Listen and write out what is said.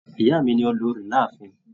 Ìyá mí ni olórí láàfin.